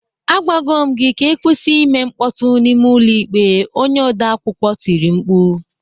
"Agwago m gị ka ị kwụsị ime mkpọtụ n'ime ụlọ ikpe," onye odeakwụkwọ tiri mkpu